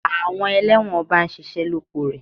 Àwọn elẹ́wọ̀n ọba ń ṣiṣẹ́ lóko rẹ̀.